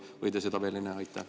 Või te seda veel ei näe?